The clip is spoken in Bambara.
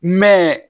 Mɛ